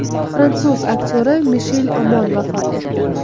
Fransuz aktyori Mishel Omon vafot etdi.